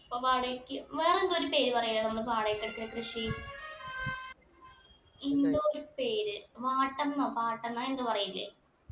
അപ്പൊ വാടകയ്ക്ക് വേറെന്തോ ഒരു പേര് പറയ നമ്മൾ വാടകയ്‌ക്കെടുത്ത കൃഷി എന്തോ ഒരു പേര് വാട്ടം ന്നോ പട്ടം ന്നോ അങ്ങനെ എന്തോ പറയില്ലേ